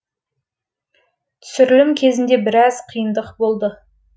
түсірілім кезінде біраз қиындық болды